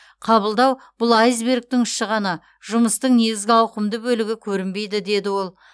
қабылдау бұл айсбергтің ұшы ғана жұмыстың негізгі ауқымды бөлігі көрінбейді деді ол